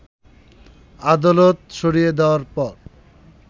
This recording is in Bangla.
আদালত সরিয়ে দেয়ার পর